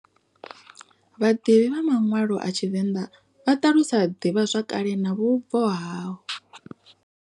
Vhaḓivhi vha manwalo a tshivenḓa vha ṱalusa divhazwakale na vhubvo ha.